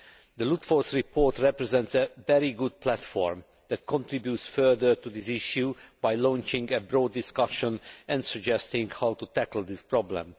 The Ludford report represents a very good platform that contributes further to this issue by launching a broad discussion and suggesting how to tackle this problem.